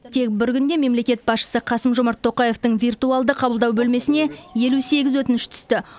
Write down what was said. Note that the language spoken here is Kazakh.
тек бір күнде мемлекет басшысы қасым жомарт тоқаевтың виртуалды қабылдау бөлмесіне елу сегіз өтініш түсті